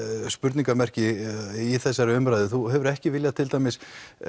spurningarmerki í þessari umræðu þú hefur ekki viljað til dæmis